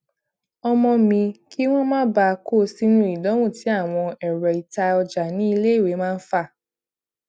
ọmọ mi kí wón má bàa kó sínú idanwo tí àwọn èrọ ita ọjà ní iléèwé máa ń fà